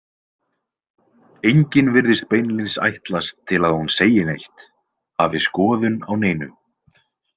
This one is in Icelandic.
Enginn virðist beinlínis ætlast til að hún segi neitt, hafi skoðun á neinu.